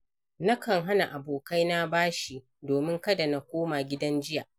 Nakan hana abokaina bashi domin kada na koma gidan jiya.